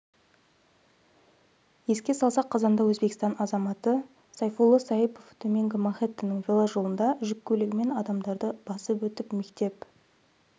еске салсақ қазанда өзбекстан азаматы сайфулло саипов төменгі манхэттеннің веложолында жүк көлігімен адамдарды басып өтіп мектеп